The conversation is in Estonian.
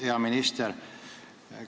Hea minister!